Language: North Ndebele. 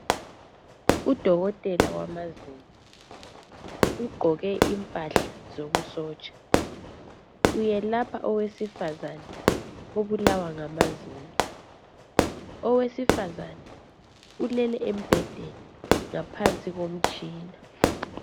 Udokotela wamazinyo ugqoke impahla zobusotsha uyelapha owesifazana obulawa ngamazinyo owesifazana ulele embhedeni ngaphansi komtshina.